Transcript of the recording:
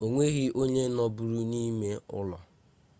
onweghi onye nọbụrụ n'ime ulo